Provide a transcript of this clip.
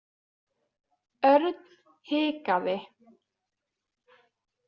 Örn hikaði.